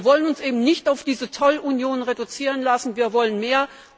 Wir wollen uns eben nicht auf diese Zollunion reduzieren lassen, wir wollen mehr.